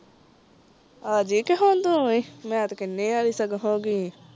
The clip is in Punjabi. ਆਜੀ ਤੇ ਹੁਣ ਤੂੰ ਵੀ ਮੈਂ ਤੇ ਕੀਨੀ ਸਗੋਂ ਹੋਗਗੀ ਆ